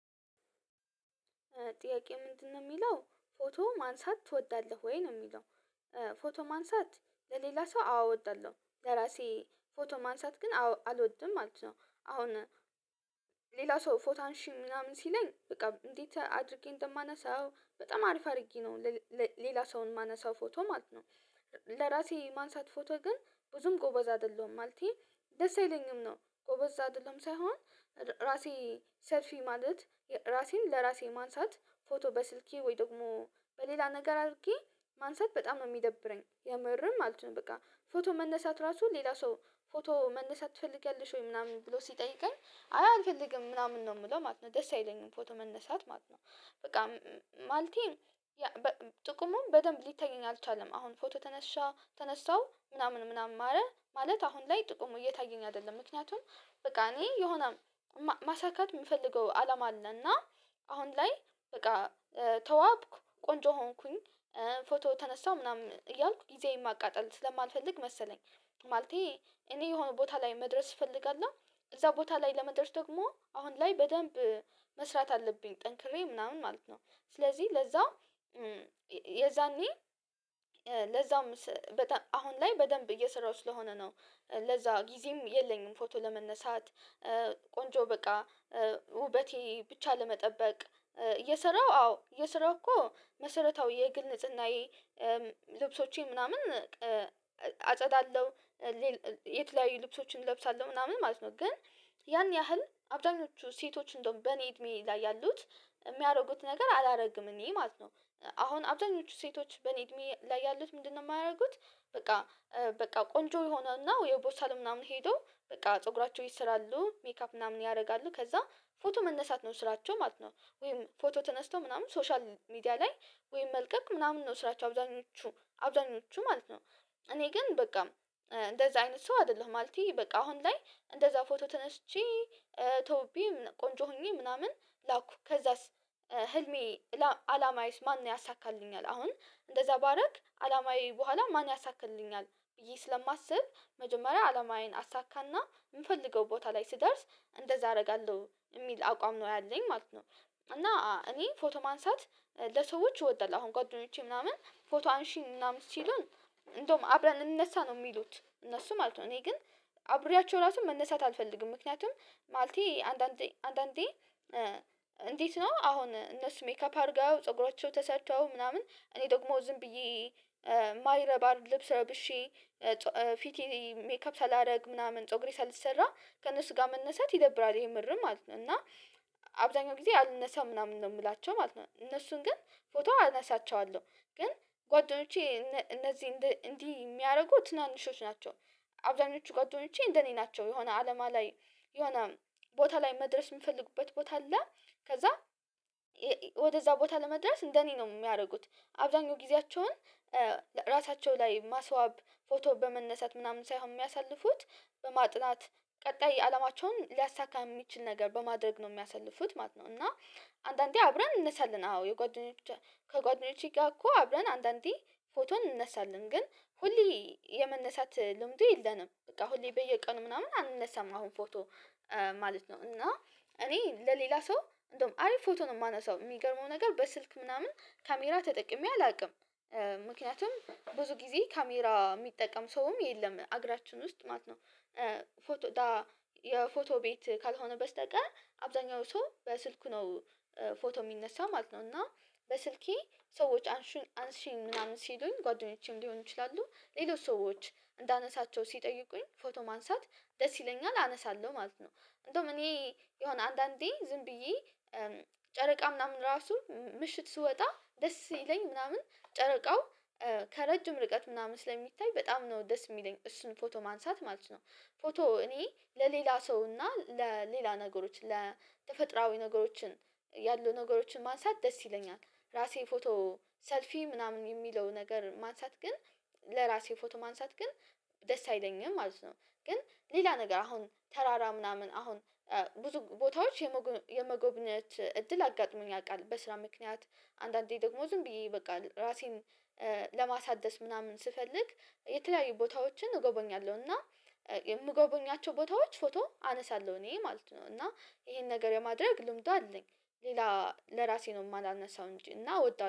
ጥያቄ ምንድነው የሚለው ፎቶ ማንሳት ትወዳለህ ወይ ነው የሚለው? ፎቶ ማንሳት ለሌላ ሰው አወ ወዳለሁ ለራሴ ፎቶ ማንሳት ግን አልወድም ማለት ነው። አሁን ሌላ ሰው ፎታንሺ ምናምን ሲለኝ በቃ እንዴት አድርጌ እንደማነሳው በጣም አሪፍ አድርጌ ነው ሌላ ሰውን ማነሳው ፎቶ ማለት ነው። ለራሴ ማንሳት ፎቶ ግን ብዙም ጎበዝ አይደለሁም ማለተ ደስ አይለኝም ነው ጎበዝ አይደለሁም ሳይሆን ራሴ ሰልፊ ማለት ራሴን ለራሴ ማንሳት ፎቶ በስልኬ ወይ ደግሞ በሌላ ነገር አድርጌ ማንሳት በጣም ሚደብረኝ የምርም ማለት ነው። በቃ ፎቶ መነሳት ራሱ ሌላ ሰው ፎቶ መነሳት ትፈልጋለሽ ወይ ምናምን ብሎ ሲጠይቀኝ አይ አልፈልግም ምናምን ነው ምለው ማለት ነው ደስ አይለኝም ፎቶ መነሳት ማለት ነው። በቃ ማለቴ ጥቅሙን በደንብ ሊታየኝ አልቻለም አሁን ፎቶ ተነሻ ተነሳው ምናምን ምናምን ማረ ማለት አሁን ላይ ጥቁሙ እየታየኝ አይደለም። ምክንያቱም በቃ እኔ የሆነ ማሳካት የምፈልገው አለም አለና አሁን ላይ በቃ ተዋብኩ ቆንጆ ሆንኩኝ ፎቶ ተነሳሁ ምናምን እያልኩ ጊዜዬን ማቃጠል ስለማልፈልግ መሰለኝ። ማለቴ እኔ የሆነ ቦታ ላይ መድረስ እፈልጋለሁ እዛ ቦታ ላይ ለመድረስ ደግሞ አሁን ላይ በደንብ መስራት አለብኝ ጠንክሬ ምናምን ማለት ነው። ስለዚህ ለዛ የዛኔ ለዛም በጣ አሁን ላይ በደንብ እየሰራሁ ስለሆነ ነው ለዛ ጊዜም የለኝም። ፎቶ ለመነሳት ቆንጆ በቃ ውበቴ ብቻ ለመጠበቅ እየሰራሁ አዎ የስራው እኮ መሰረታዊ የግል ንጽህናዬ ልብሶቼ ምናምን አጸዳለሁ የት ላይ ልብሶችን እለብሳለሁ ምናምን ማለት ነው። ግን ያን ያህል አብዛኞቹ ሴቶች እንደውም በእኔ እድሜ ላይ ያሉት የሚያደርጉት ነገር አላደርግም እኔ ማለት ነው አሁን አብዛኞቹ ሴቶች በኔ እድሜ ላይ ያሉት ምንድነው ማያደርጉት? በቃ በቃ ቆንጆ የሆነና ወይ ቦሳል ምናምን ሄዶ በቃ ፀጉራቸው ይሰራሉ ሜካፕ ምናምን ያደርጋሉ ከዛ ፎቶ መነሳት ነው ስራቸው ማለት ነው። ወይም ፎቶ ተነስቶ ምናምን ሶሻል ሚዲያ ላይ ወይም መልቀቅ ምናምን ነው ስራቸው አብዛኞቹ አብዛኞቹ ማለት ነው። እኔ ግን በቃ እንደዛ አይነት ሰው አይደለሁም ማለቴ በቃ አሁን ላይ እንደዛ ፎቶ ተነስቼ ተውቤ ቆንጆ ሆኜ ምናምን። ላኩ ከዛስ ህልሜ አላማ አይስማን ያሳካልኛል አሁን እንደዛ ባደረግ አላማዬ በኋላ ማን ያሳክልኛል ብዬ ስለማስብ መጀመሪያ አላማዬን አሳካና የምፈልገው ቦታ ላይ ስደርስ እንደዛ አደርጋለሁ የሚል አቋም ነው ያለኝ ማለት ነው። እና እኔ ፎቶ ማንሳት ለሰዎች እወዳለሁ አሁን ቆይቶኞቼ ምናምን ፎቶ አንሺ ምናምን ሲሉን እንደውም አብረን እንነሳ ነው የሚሉት እነሱ ማለት ነው እኔ ግን አብሬያቸው ራሱን መነሳት አልፈልግም። ምክንያቱም ማለቴ አንዳንዴ አንዳንዴ እንዴት ነው አሁን እነሱ ሜካፕ አድርገው ፀጉራቸው ተሰጥተው ምናምን እነ ደግሞ ዝም ብዬ የማይረባር ልብስ ረብሼ ፊቴ ሜካፕ ሳላደርግ ምናምን ፀጉሬ ሳልሰራ ከእነሱ ጋር መነሳት ይደብራል ይሄ ምርም ማለት ነው። እና አብዛኛው ጊዜ አልነሳም ምናምን ነው የምላቸው ማለት ነው። እነሱን ግን ፎቶ አነሳቸዋለሁ ግን ጓደኞቼ እነዚህ እንዲህ የሚያደርጉ ትናንሾች ናቸው። አብዛኞቹ ጋር ደግሞቼ እንደኔ ናቸው የሆነ አለማ ላይ የሆነ ቦታ ላይ መድረስ የምፈልግበት ቦታ አለ። ከዛ ወደዛ ቦታ ለመድረስ እንደኔ ነው የሚያደርጉት አብዛኛው ጊዜያቸውን ራሳቸው ላይ ማስዋብ ፎቶ በመነሳት ምናምን ሳይሆን የሚያሳልፉት በማጥናት ቀጣይ አለማቸውን ሊያሳካ የሚችል ነገር በማድረግ ነው የሚያሳልፉት ማለት ነው። እና አንዳንዴ አብረን እንነሳለን አዎ ከጓደኞቼ ጋር እኮ አብረን አንዳንዴ ፎቶ እንነሳለን ግን ሁሌ የመነሳት ልምዱ የለንም። በቃ ሁሌ በየቀኑ ምናምን አንነሳም አሁን ፎቶ ማለት ነው እና እኔ ለሌላ ሰው እንደውም አሪፍ ፎቶ ነው የማነሳው የሚገርመው ነገር በስልክ ምናምን ካሜራ ተጠቅሜ አላውቅም። ምክንያቱም ብዙ ጊዜ ካሜራ ሚጠቀም ሰውም የለም አገራችን ውስጥ ማለት ነው። ፎቶ የፎቶ ቤት ካልሆነ በስተቀር አብዛኛው ሰው በስልክ ነው ፎቶ የሚነሳው ማለት ነው። እና በስልኬ ሰዎች አንሽን አንሽን ምናምን ሲሉኝ ጓደኞቼም ሊሆኑ ይችላሉ ሌሎች ሰዎች እንዳነሳቸው ሲጠይቁኝ ፎቶ ማንሳት ደስ ይለኛል አነሳለሁ ማለት ነው። እንደውም እኔ የሆነ አንዳንዴ ዝም ብዬ ጨረቃ ምናምን ራሱ ምሽት ስወጣ ደስ ይለኝ ምናምን ጨረቃው ከረጅም ርቀት ምናምን ስለሚታይ በጣም ነው ደስ የሚለኝ እሱን ፎቶ ማንሳት ማለት ነው። ፎቶ እኔ ለሌላ ሰው እና ለሌላ ነገሮች ለተፈጥራዊ ነገሮችን ያሉ ነገሮችን ማንሳት ደስ ይለኛል። ራሴ ፎቶ ሰልፊ ምናምን የሚለው ነገር ማንሳት ግን ለራሴ ፎቶ ማንሳት ግን ደስ አይለኝም ማለት ነው። ግን ሌላ ነገር አሁን ተራራ ምናምን አሁን ብዙ ቦታዎች የመጎብኘት እድል አጋጥሞኝ ያውቃል በስራ ምክንያት አንዳንዴ ደግሞ ዝም ብዬ ይበቃል ራሴን ለማሳደስ ምናምን ስፈልግ የተለያዩ ቦታዎችን እጎበኛለሁ እና የምጎበኛቸው ቦታዎች ፎቶ አነሳለሁ እኔ ማለት ነው። እና ይሄን ነገር የማድረግ ልምዱ አለኝ ሌላ ለራሴ ነው የማላነሳው እንጂ እና ወዳለሁ